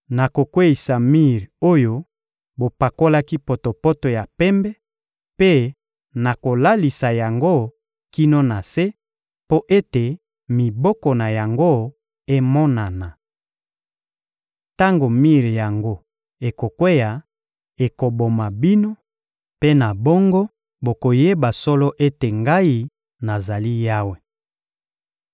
Nakokweyisa mir oyo bopakolaki potopoto ya pembe mpe nakolalisa yango kino na se, mpo ete miboko na yango emonana. Tango mir yango ekokweya, ekoboma bino; mpe na bongo bokoyeba solo ete Ngai, nazali Yawe.